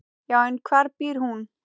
Já, en hvar býr hún?